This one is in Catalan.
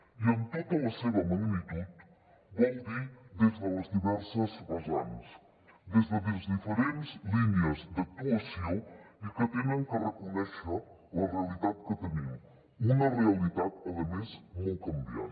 i en tota la seva magnitud vol dir des de les diverses vessants des de diferents línies d’actuació que han de reconèixer la realitat que tenim una realitat a més molt canviant